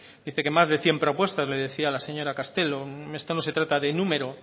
dice que más de cien propuestas le decía a la señora castelo esto no se trata de número